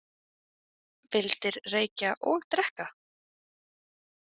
Vildir reykja og drekka?